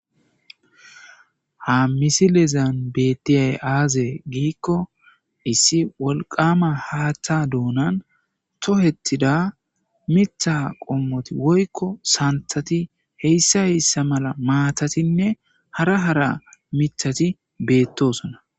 Ha misilezan bettiya aze giko issi wolqqam haththa donan tokethida miththati woyko santhathi hesa hesa mala matatine hara hara mithati betosona